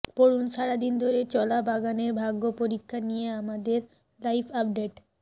পড়ুন সারাদিন ধরে চলা বাগানের ভাগ্যপরীক্ষা নিয়ে আমাদের লাইভআপডেট